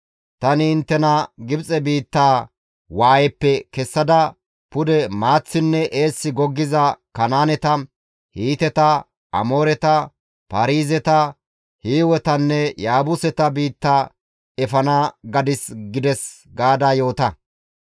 Tani inttena Gibxe biittaa waayeppe kessada pude maaththinne eessi goggiza Kanaaneta, Hiiteta, Amooreta, Paarizeta, Hiiwetanne Yaabuseta biitta efana gadis› gides» gaada yoota.